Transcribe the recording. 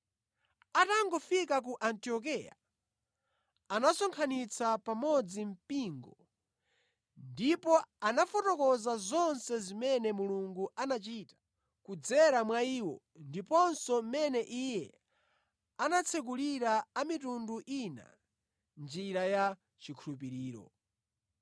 Atangofika ku Antiokeya, anasonkhanitsa pamodzi mpingo ndipo anafotokoza zonse zimene Mulungu anachita kudzera mwa iwo ndiponso mmene Iye anatsekulira a mitundu ina njira ya chikhulupiriro.